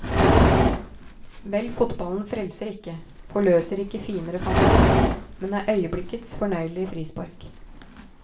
Vel, fotballen frelser ikke, forløser ikke finere fantasi, men er øyeblikkets fornøyelige frispark.